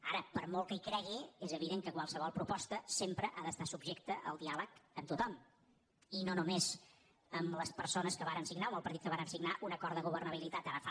ara per molt que hi cregui és evident que qualsevol proposta sempre ha d’estar subjecta al diàleg amb tot·hom i no només amb les persones que vàrem signar o amb el partit que vàrem signar un acord de gover·nabilitat ara fa